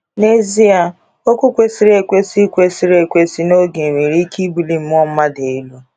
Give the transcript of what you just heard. N'ezie, okwu kwesịrị ekwesị kwesịrị ekwesị n'oge nwere ike ibuli mmụọ mmadụ elu.